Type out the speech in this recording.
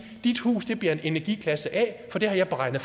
dit hus bliver en energiklasse a for det har jeg beregnet